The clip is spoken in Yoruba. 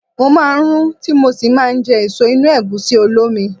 Mo máa ń rún tí mo sì máa jẹ èso inú Ẹ̀gúsí olómi.